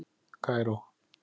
Kaíró